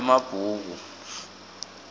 emabhuku